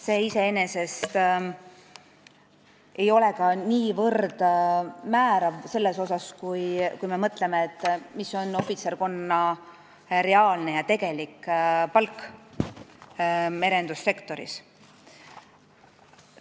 See ei ole iseenesest ka niivõrd määrav, kui me mõtleme, mis on ohvitserkonna reaalne palk merendussektoris.